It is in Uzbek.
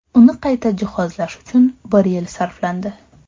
Uni qayta jihozlash uchun bir yil sarflandi.